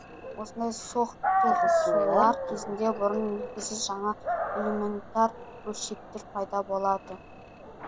осындай соқтығысулар кезінде бұрын белгісіз жаңа элементар бөлшектер пайда болады